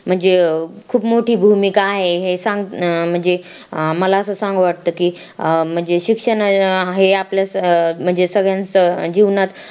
म्हणजे खूप मोठी भूमिका आहे हे सांग म्हणजे मला असं सांगू वाटत की अं म्हणजे शिक्षण आपल्या सगळ्यांच्या जीवनात